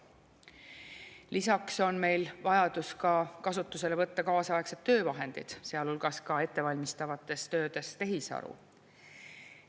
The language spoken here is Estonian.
Lisaks on meil vajadus kasutusele võtta kaasaegsed töövahendid, sealhulgas ettevalmistavates töödes tehisaru.